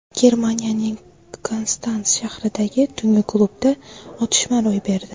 Germaniyaning Konstans shahridagi tungi klubda otishma ro‘y berdi.